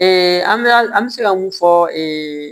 an bɛ an bɛ se ka mun fɔ ee